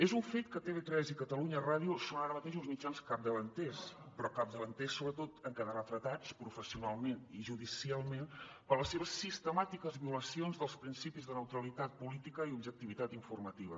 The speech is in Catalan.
és un fet que tv3 i catalunya ràdio són ara mateix uns mitjans capdavanters però capdavanters sobretot en quedar retratats professionalment i judicialment per les seves sistemàtiques violacions dels principis de neutralitat política i objectivitat informativa